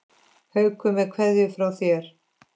Haukur með kveðju frá þér.